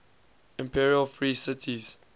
imperial free cities